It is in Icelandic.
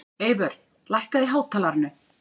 Eyvör, lækkaðu í hátalaranum.